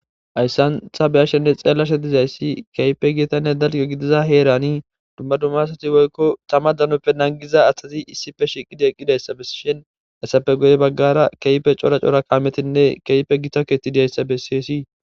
Hayisan ta beyashe dizaysi woy ta xellashe dizaysi kehippe gittanne dalga gidida herani dumma dumma asati woykon tama danoppe naggiza asati issippe shiqidaysa besiza asati hessappe guye bagara kehippe c'ora c'ora kammetinne kehippe gotta kethi dizzysa besses